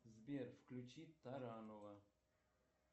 сбер включи таранова